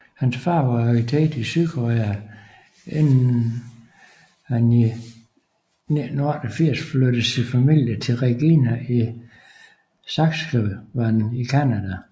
Hans far var arkitekt i Sydkorea inden hani 1988 flyttede sin familie til Regina i Saskatchewan i Canda